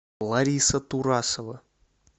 лариса турасова